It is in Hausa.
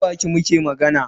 Ta baki muke magana.